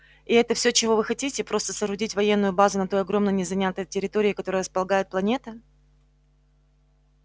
и это все чего вы хотите просто соорудить военную базу на той огромной незанятой территории которой располагает планета